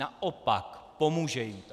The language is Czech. Naopak, pomůže jim to.